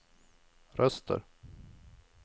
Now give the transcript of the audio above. röster